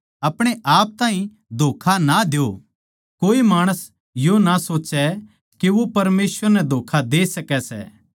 अपणे आप ताहीं धोक्खा ना द्यो कोए माणस यो ना सोच्चे के वो परमेसवर नै धोक्खा दे सकै सै